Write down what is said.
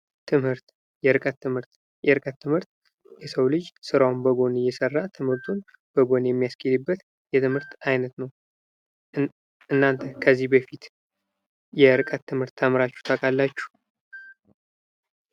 ትምህርት ፦ የርቀት ትምህርት ፦ የርቀት ትምህርት የሰው ልጅ ስራውን በጎን እየሰራ ትምህርቱን በጎን የሚያስኬድበት የትምህርት አይነት ነው ። እናንተ ከዚህ በፊት የርቀት ትምህርት ተምራችሁ ታውቃላችሁ ?